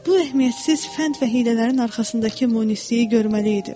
Bu əhəmiyyətsiz fənd və hiylələrin arxasındakı munisliyi görməliydim.